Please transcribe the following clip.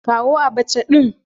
Kawo Abacha din